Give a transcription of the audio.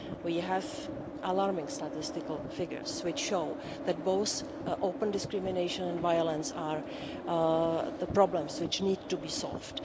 We have alarming statistical figures which show that both open discrimination and violence are problems which need to be solved.